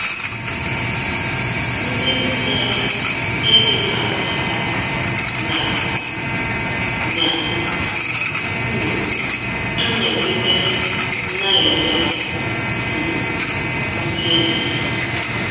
um Ndị mụtara ịdị na - agbaghara na na - um anọgide na - enwe um ndị enyi ha.